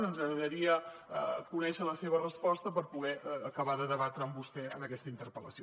ens agradaria conèixer la seva resposta per poder acabar de debatre amb vostè en aquesta interpel·lació